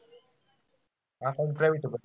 Account private होत का?